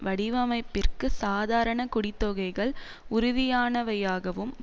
வடிவமைப்பிற்கு சாதாரண குடித்தொகைகள் உறுதியானவையாகவும்